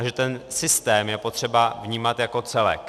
A že ten systém je potřeba vnímat jako celek.